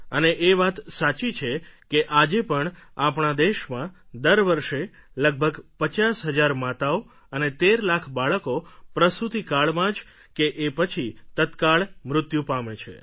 અને એ વાત સાચી છે કે આજે પણ આપણા દેશમાં દર વર્ષે લગભગ પચાસ હજાર માતાઓ અને તેર લાખ બાળકો પ્રસૂતિકાળમાં જ કે એ પછી તત્કાળ મૃત્યુ પામે છે